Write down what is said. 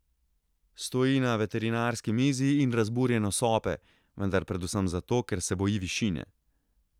Stoji na veterinarski mizi in razburjeno sope, vendar predvsem zato, ker se boji višine.